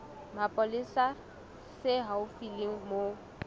mapolesa se haufi le moo